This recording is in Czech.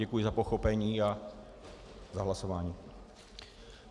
Děkuji za pochopení a za hlasování.